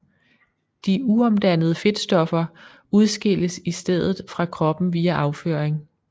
De uomdannede fedtstoffer udskilles i stedet fra kroppen via afføring